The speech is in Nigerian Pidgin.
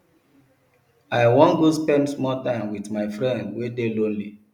i wan go spend small time wit my friend wey dey lonely